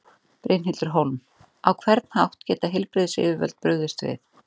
Brynhildur Hólm: Á hvern hátt geta heilbrigðisyfirvöld brugðist við?